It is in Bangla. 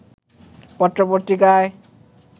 পত্র-পত্রিকায়